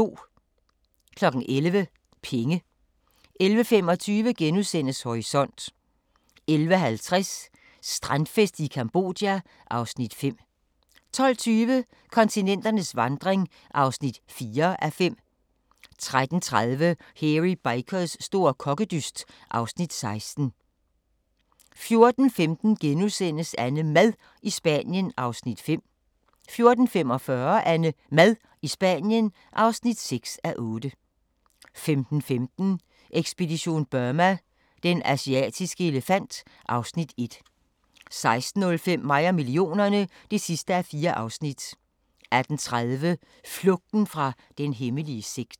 11:00: Penge 11:25: Horisont * 11:50: Strandfest i Cambodja (Afs. 5) 12:20: Kontinenternes vandring (4:5) 13:30: Hairy Bikers store kokkedyst (Afs. 16) 14:15: AnneMad i Spanien (5:8)* 14:45: AnneMad i Spanien (6:8) 15:15: Ekspedition Burma: Den asiatiske elefant (Afs. 1) 16:05: Mig og millionerne (4:4) 18:30: Flugten fra den hemmelige sekt